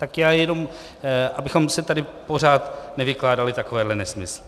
Tak já jenom abychom si tady pořád nevykládali takovéhle nesmysly.